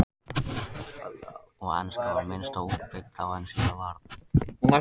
Og enska var minna útbreidd þá en síðar varð.